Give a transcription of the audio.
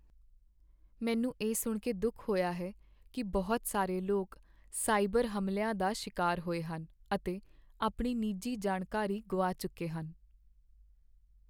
ਮੈਨੂੰ ਇਹ ਸੁਣ ਕੇ ਦੁੱਖ ਹੋਇਆ ਹੈ ਕੀ ਬਹੁਤ ਸਾਰੇ ਲੋਕ ਸਾਈਬਰ ਹਮਲਿਆਂ ਦਾ ਸ਼ਿਕਾਰ ਹੋਏ ਹਨ ਅਤੇ ਆਪਣੀ ਨਿੱਜੀ ਜਾਣਕਾਰੀ ਗੁਆ ਚੁੱਕੇ ਹਨ।